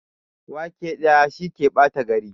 Wake ɗaya, shi ke ɓata gari.